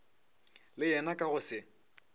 le yena ka go se